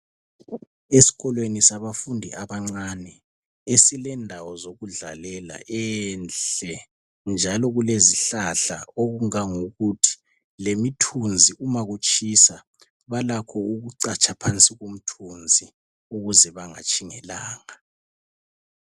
Esikolweni sabafundi abancani esilendawo zokudlalela, enhle njalo kulezihlahla okungangokuthi lemithunzi uma kutshisa balakho ukucatsha phansi komthunzi ukuze bangatshi ngelanga.